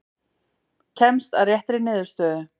Kemst að réttri niðurstöðu.